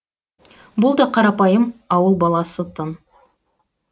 бұл да қарапайым ауыл баласы тын